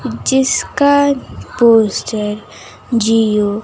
जिसका पोस्टर जिओ --